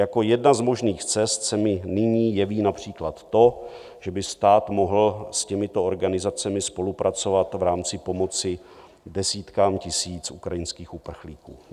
Jako jedna z možných cest se mi nyní jeví například to, že by stát mohl s těmito organizacemi spolupracovat v rámci pomoci desítkám tisíc ukrajinských uprchlíků.